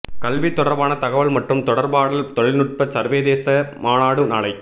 கல்வி தொடர்பான தகவல் மற்றும் தொடர்பாடல் தொழில்நுட்ப சர்வதேச மாநாடு நாளை